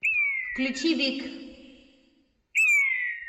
включи вик